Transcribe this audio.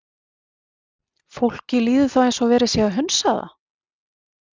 Fólki líður þá eins og verið sé að hunsa það.